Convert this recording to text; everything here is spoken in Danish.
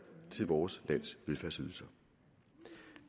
til vores lands velfærdsydelser